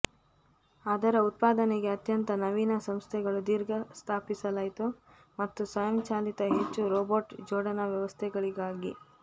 ಅದರ ಉತ್ಪಾದನೆಗೆ ಅತ್ಯಂತ ನವೀನ ಸಂಸ್ಥೆಗಳು ದೀರ್ಘ ಸ್ಥಾಪಿಸಲಾಯಿತು ಮತ್ತು ಸ್ವಯಂಚಾಲಿತ ಹೆಚ್ಚು ರೋಬಾಟ್ ಜೋಡಣಾ ವ್ಯವಸ್ಥೆಗಳಿಗಾಗಿ